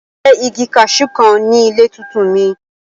Mo fẹ igi kaṣú kan ni ile tuntun mi!